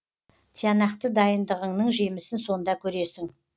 тиянақты дайындығыңның жемісін сонда көресің